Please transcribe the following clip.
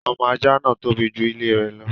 Ọmọ ajá náà tóbi ju ilé rẹ̀ lọ.